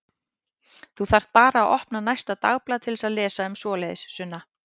Þú þarft bara að opna næsta dagblað til að lesa um svoleiðis, Sunna.